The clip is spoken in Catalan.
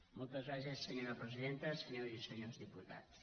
moltes gràcies senyora presidenta senyors i senyores diputats